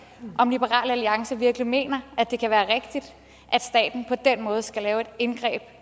om liberal alliance virkelig mener at det kan være rigtigt at staten på den måde skal lave et indgreb